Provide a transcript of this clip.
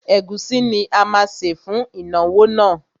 Ẹ̀gúsí ni a má sè fún ìnáwó náà.